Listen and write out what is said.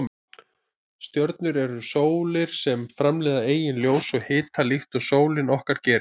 Stjörnur eru sólir sem framleiða eigið ljós og hita líkt og sólin okkar gerir.